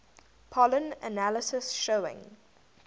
pollen analysis showing